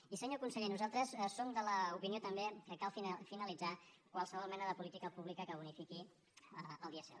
i senyor conseller nosaltres som de l’opinió també que cal finalitzar qualsevol mena de política pública que bonifiqui el dièsel